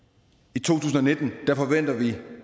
i to tusind og nitten forventer vi